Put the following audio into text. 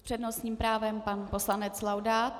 S přednostním právem pan poslanec Laudát.